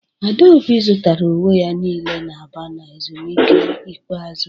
Adaobi zụtara uwe ya niile na Aba na ezumike ikpeazụ